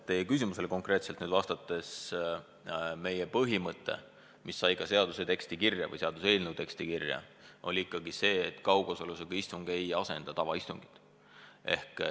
Teie küsimusele konkreetselt vastates selgitan, et meie põhimõte, mis sai ka seaduseelnõu teksti kirja, oli ikkagi see, et kaugosalusega istung ei asenda tavaistungit.